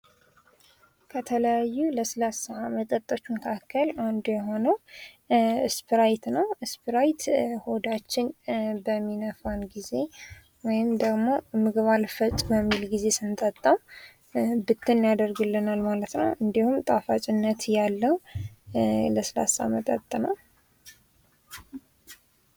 ከተለያዩ የስላሳ መጠጦች መካከል አንዱ የሆነው ስፕራይት ነው ስፕራይት ሆዳችንን በሚነፋን ጊዜ ወይም ደግሞ ምግብ አልፈጭልን ባለ ጊዜ ስንጠጣው ብትን ያደርግልናል ማለት ነው እንዲሁም ጣፋጭነት ያለው ለስላሳ መጠጥ ነው።